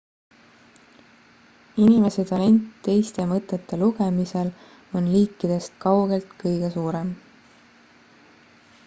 inimese talent teiste mõtete lugemisel on liikidest kaugelt kõige suurem